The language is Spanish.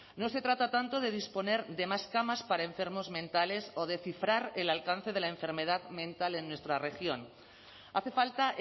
no se trata tanto de disponer de más camas para enfermos mentales o de cifrar el alcance de la enfermedad mental en nuestra región hace falta